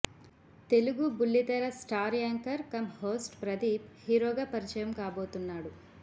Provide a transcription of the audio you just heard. తెలుగు బుల్లి తెర star anchor come host Pradeep హీరోగా పరిచయం కాబోతున్నాడు